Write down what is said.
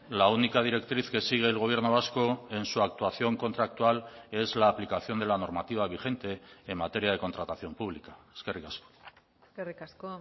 la única directriz que sigue el gobierno vasco en su actuación contractual es la aplicación de la normativa vigente en materia de contratación pública eskerrik asko eskerrik asko